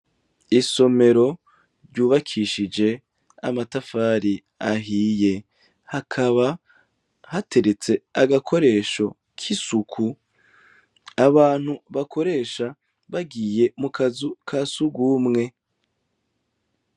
Isomero ryubakishije amatafari ahiye hakaba hateretse agakoresho kisuku abantu bakoresha bagiye mukazu kasugumwe.